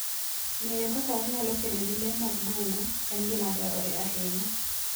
Ng'eyo kaka wanyalo kedo gi le mag bungu en gima dwarore ahinya.